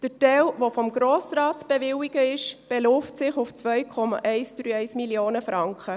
Der Teil, der vom Grossen Rat zu bewilligen ist, beläuft sich auf 2,131 Mio. Franken.